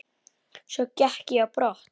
Svo gekk ég á brott.